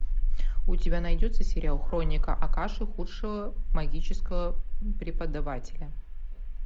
у тебя найдется сериал хроника акаши худшего магического преподавателя